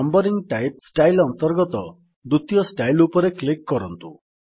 numbering type style ଅନ୍ତର୍ଗତ ଦ୍ୱିତୀୟ style ଉପରେ କ୍ଲିକ୍ କରନ୍ତୁ